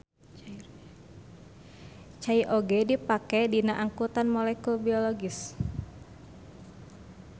Cai oge dipake dina angkutan molekul biologis.